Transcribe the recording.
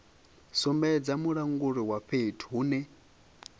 sumbedza mulanguli wa fhethu hune